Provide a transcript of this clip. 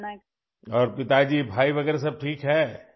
ہاں، اور پتا جی ، بھائی وغیرہ سب ٹھیک ہیں ؟